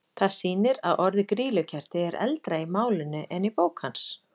Það sýnir að orðið grýlukerti er eldra í málinu en í bók hans.